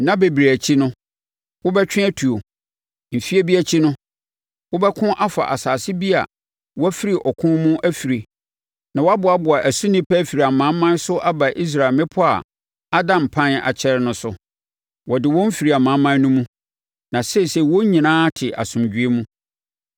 Nna bebree akyi no, wobɛtwe atuo. Mfeɛ bi akyi no wobɛko afa asase bi a wafiri ɔko mu afirie na wɔaboaboa ɛso nnipa afiri amanaman so aba Israel mmepɔ a ada mpan akyɛre no so. Wɔde wɔn fifiri amanaman no mu, na seesei wɔn nyinaa te asomdwoeɛ mu.